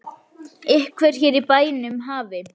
Að einhver hér í bænum hafi.